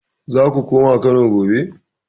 Zako koma Kano gobe